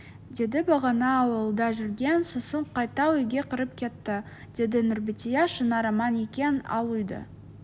деді бағана аулада жүрген сосын қайта үйге кіріп кетті -деді нұрбәтия шынар аман екен ал үйді